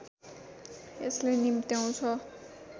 यसले निम्त्याउँछ